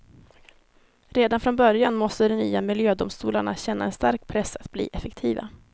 Redan från början måste de nya miljödomstolarna känna en stark press att bli effektiva.